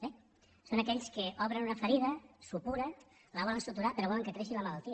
bé són aquells que obren una ferida supura i la volen suturar però volen que creixi la malaltia